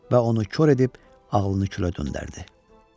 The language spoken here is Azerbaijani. Və onu kor edib ağlını külə döndərdi.